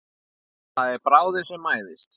Það er bráðin sem mæðist.